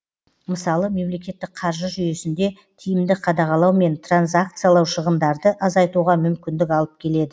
мысалы мемлекеттік қаржы жүйесінде тиімді қадағалау мен транзакциялау шығындарды азайтуға мүмкіндік алып келеді